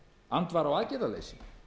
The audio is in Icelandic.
andvara og aðgerðaleysi